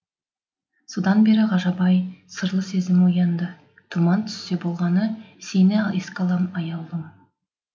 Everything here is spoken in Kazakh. содан бері ғажап ай сырлы сезім оянды тұман түссе болғаны сені еске алам аяулым